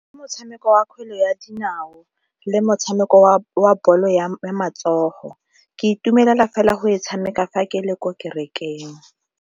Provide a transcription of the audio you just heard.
Motshameko wa kgwele ya dinao le motshameko wa bolo ya matsogo, ke itumelela fela go e tshameka fa ke le ko kerekeng.